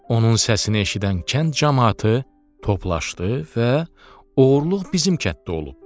Onun səsini eşidən kənd camaatı toplaşdı və oğurluq bizim kənddə olub.